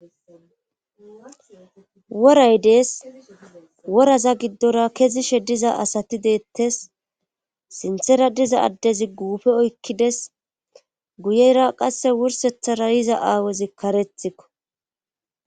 woray dees woraza giddora kezishe diza asati deettes sinthera diza addezi guufe oykkides guyeyra qasse wursethara yiza aawezi karethikko